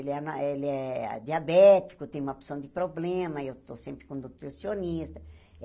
Ele é na ele é diabético, tem uma porção de problema, eu estou sempre com nutricionista.